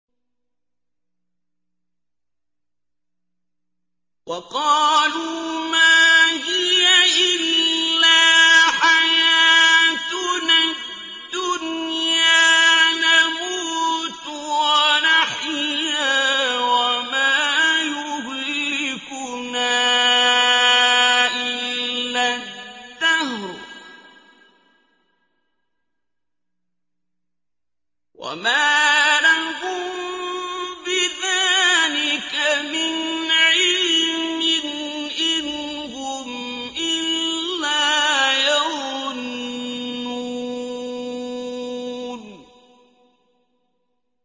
وَقَالُوا مَا هِيَ إِلَّا حَيَاتُنَا الدُّنْيَا نَمُوتُ وَنَحْيَا وَمَا يُهْلِكُنَا إِلَّا الدَّهْرُ ۚ وَمَا لَهُم بِذَٰلِكَ مِنْ عِلْمٍ ۖ إِنْ هُمْ إِلَّا يَظُنُّونَ